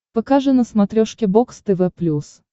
покажи на смотрешке бокс тв плюс